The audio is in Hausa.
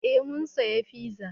Eh mun saya fiza